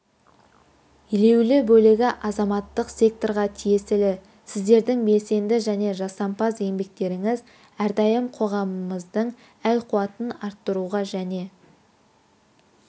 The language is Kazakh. елеулі бөлігі азаматтық секторға тиесілі сіздердің белсенді және жасампаз еңбектеріңіз әрдайым қоғамымыздың әл-ауқатын арттыруға және